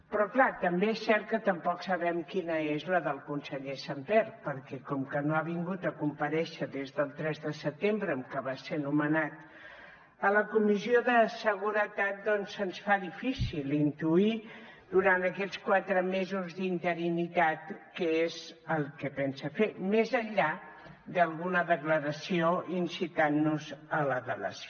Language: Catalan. però clar també és cert que tampoc sabem quina és la del conseller sàmper perquè com que no ha vingut a comparèixer des del tres de setembre en què va ser nomenat a la comissió de seguretat doncs se’ns fa difícil intuir durant aquests quatre mesos d’interinitat què és el que pensa fer més enllà d’alguna declaració incitant nos a la delació